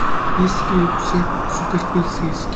есть ли у тебя суперполицейский